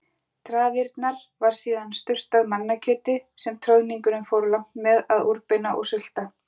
traðirnar var síðan sturtað mannakjöti sem troðningurinn fór langt með að úrbeina og sulta.